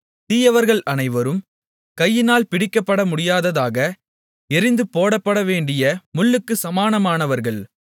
தீயவர்கள் அனைவரும் கையினால் பிடிக்கப்படமுடியாததாக எறிந்துபோடப்படவேண்டிய முள்ளுக்குச் சமானமானவர்கள்